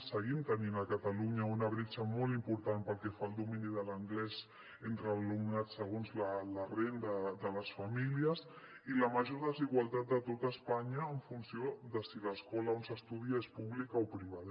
seguim tenint a catalunya una bretxa molt important pel que fa al domini de l’anglès entre l’alumnat segons la renda de les famílies i la major desigualtat a tot espanya en funció de si l’escola on s’estudia és pública o privada